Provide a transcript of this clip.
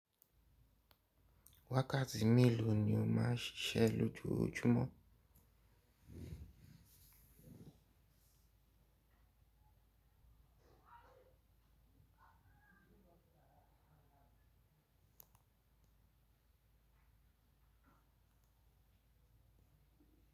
Wákàtí meló ni ó má ṣíṣe lójojúmọ́.